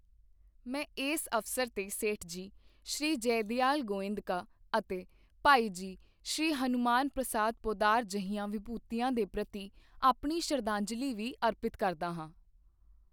ਮੈਂ ਇਸ ਅਵਸਰ ਤੇ ਸੇਠਜੀ ਸ਼੍ਰੀ ਜੈਦਿਆਲ ਗੋਯੰਦਕਾ, ਅਤੇ ਭਾਈ ਜੀ ਸ਼੍ਰੀ ਹਨੁਮਾਨ ਪ੍ਰਸਾਦ ਪੋੱਦਾਰ ਜਿਹੀਆਂ ਵਿਭੂਤੀਆਂ ਦੇ ਪ੍ਰਤੀ ਆਪਣੀ ਸ਼ਰਧਾਂਜਲੀ ਵੀ ਅਰਪਿਤ ਕਰਦਾ ਹਾਂ।